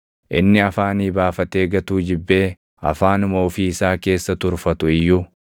inni afaanii baafatee gatuu jibbee afaanuma ofii isaa keessa turfatu iyyuu,